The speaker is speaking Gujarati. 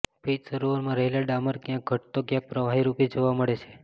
પિચ સરોવરમાં રહેલા ડામર ક્યાંક ઘટ્ટ તો ક્યાંક પ્રવાહી રૂપે જોવા મળે છે